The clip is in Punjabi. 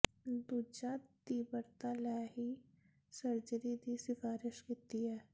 ਦੂਜਾ ਤੀਬਰਤਾ ਲੈ ਹੀ ਸਰਜਰੀ ਦੀ ਸਿਫਾਰਸ਼ ਕੀਤੀ ਹੈ